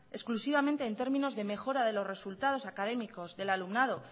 exclusivamente en términos de mejora de los resultados académicos del alumnado